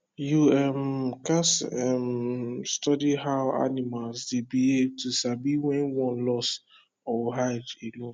you um gats um study how animal dey behave to sabi when one lost or hide alone